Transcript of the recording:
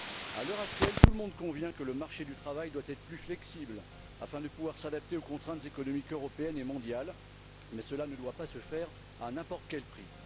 À l'heure actuelle, tout le monde convient que le marché du travail doit être plus flexible afin de pouvoir s'adapter aux contraintes économiques européennes et mondiales, mais cela ne doit pas se faire à n'importe quel prix.